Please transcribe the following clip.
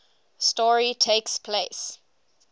story takes place